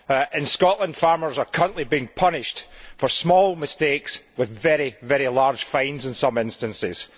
In Scotland, farmers are currently being punished for small mistakes with very, very large fines in some instances.